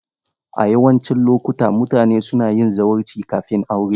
A yawancin lokuta, mutane suna yin zawarci kafin aure.